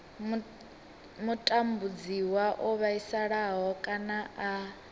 mutambudziwa o vhaisala kana a